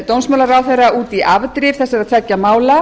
dómsmálaráðherra út í afdrif þessara tveggja mála